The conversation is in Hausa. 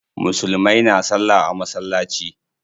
Musulmai na salla a masallaci.